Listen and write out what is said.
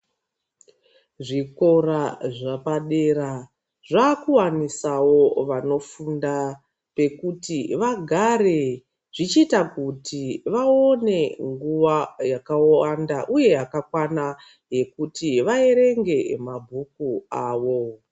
Zvikora zvapadera zvakuvanisavo vanofunda pekuti vagare zvichita kuti vaone nguva yakawand,a uye yakakwana yekuti vaverenge mabhuku avo.